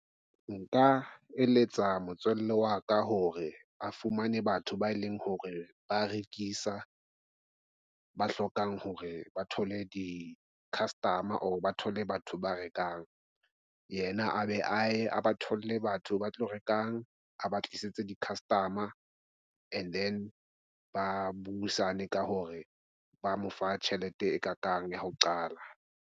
Nka eletsa motswalle wa ka hore a fumane batho ba eleng hore ba rekisa, ba hlokang hore ba thole di-customer ba thole batho ba rekang yena a be a ye a ba thole batho ba tlo rekang a ba tlisetse di-customer. And then ba buisane ka hore ba mo fa tjhelete e ka kang ya ho qala.